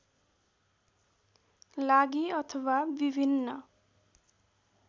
लागि अथवा विभिन्न